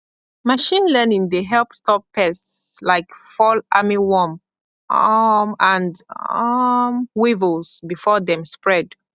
machine learning dey help stop pests like fall armyworm um and um weevils before dem spread